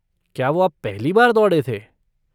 क्या वो आप पहली बार दौड़े थे?